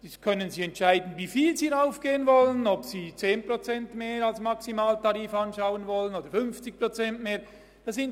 Jetzt können Sie entscheiden, um wie viel sie erhöhen wollen, ob Sie den Maximaltarif um 10 oder um 50 Prozent anheben wollen.